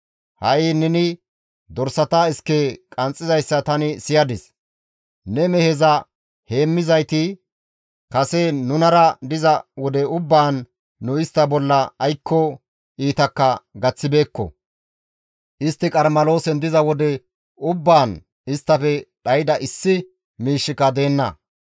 Ha7i neni dorsata iske qanxxizayssa tani siyadis. Ne meheza heemmizayti kase nunara diza wode ubbaan nu istta bolla aykko iitakka gaththibeekko. Istti Qarmeloosen diza wode ubbaan isttafe dhayda issi miishshika deenna.